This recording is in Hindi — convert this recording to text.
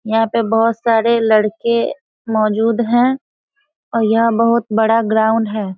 यहाँ पे बहुत सारे लड़के मोजूद हैं और यहाँ बहुत बड़ा ग्राउंड है।